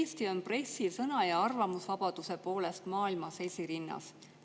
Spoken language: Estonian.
Eesti on pressisõna ja arvamusvabaduse poolest maailmas esirinnas.